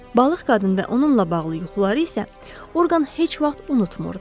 Balıq qadın və onunla bağlı yuxuları isə orqan heç vaxt unutmurdum.